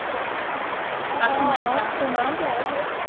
অ অ সোমাইটে আৰু সেইদিনা